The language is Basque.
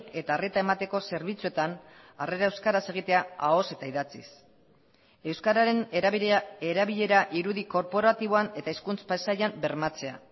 eta arreta emateko zerbitzuetan harrera euskaraz egitea ahoz eta idatziz euskararen erabilera irudi korporatiboan eta hizkuntz pasaian bermatzea